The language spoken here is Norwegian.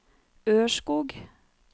Ørskog